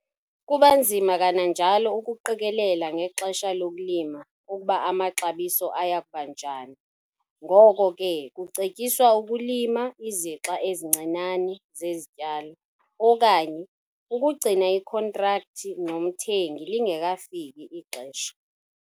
Kuba nzima kananjalo ukuqikelela ngexesha lokulima ukuba amaxabiso aya kuba njani ngoko ke kucetyiswa ukulima izixa ezincinane zezi zityalo okanye ukugcina ikhontrakthi nomthengi lingekafiki ixesha.